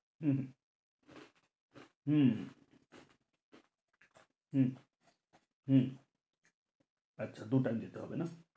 হম হম হম হম হম আচ্ছা দু- টান দিতে হবে না,